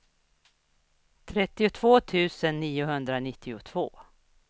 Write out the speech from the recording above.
trettiotvå tusen niohundranittiotvå